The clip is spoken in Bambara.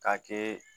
K'a kɛ